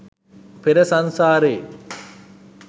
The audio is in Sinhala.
පෙර සංසාරෙ